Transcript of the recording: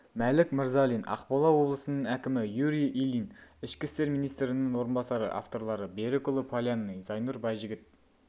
мәлік мырзалин ақмола облысының әкімі юрий ильин ішкі істер министрінің орынбасары авторлары берікұлы полянный зайнұр байжігіт